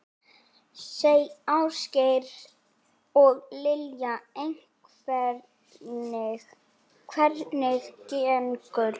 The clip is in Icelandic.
Ásgeir: Og Lilja, hvernig gengur?